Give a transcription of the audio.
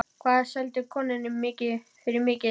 Hvað seldirðu konuna þína fyrir mikið?